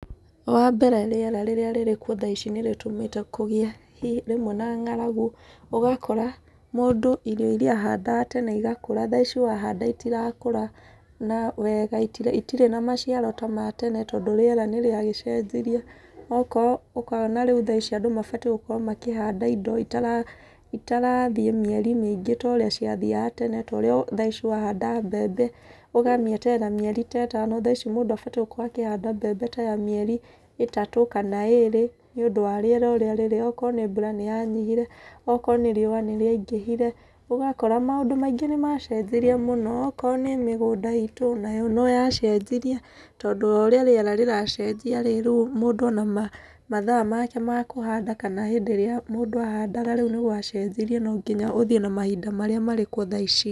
Wa mbere rĩera rĩrĩ kuo thaa ici nĩ rĩtũmĩte kũgĩe rĩmwe na ng'aragu. Ũgakora mũndũ irio irĩa ahandaga tene igakũra, thaa ici wahanda itirakũra na wega itirĩ na maciaro ta ma tene tondũ rĩera nĩ rĩagĩcenjirie. Okorwo ũkona rĩu thaa ici andũ mabatiĩ gũkorwo makĩhanda indo itarathiĩ mĩeri mĩingĩ ta ũrĩa ciathiaga tene. Ta ũrĩa thaa ici wahanda mbembe ũgamĩeterera mĩeri ta ĩtano, thaa ici mũndũ abatiĩ gũkorwo akĩhanda mbembe ta ya mĩeri ĩtatũ, kana ĩĩrĩ, nĩ ũndũ wa rĩera ũrĩa rĩrĩ. Okorwo nĩ mbura nĩ yanyihire, okorwo nĩ riũa nĩ rĩangihire. Ũgakora maũndũ maingĩ nĩ macenjirie mũno. Okoro nĩ mĩgũnda iitũ, nayo no yacenjirie, tondũ o ũrĩa rĩera rĩracenjia rĩ, rĩu maũndũ na mathaa make ma kũhanda kana hĩndĩ ĩrĩa mũndũ ahandaga rĩu nĩ gwacenjirie no nginya ũthiĩ na mahinda marĩa marĩ kuo thaa ici.